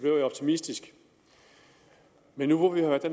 jeg optimistisk men nu hvor vi har været